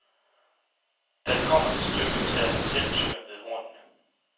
Da det kommer til stykket, tager han selv tyren ved hornene.